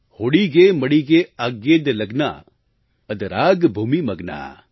होडिगे मडिगे आग्येद लग्ना अदराग भूमि मग्ना